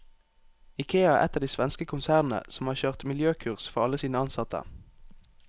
Ikea er ett av de svenske konsernene som har kjørt miljøkurs for alle sine ansatte.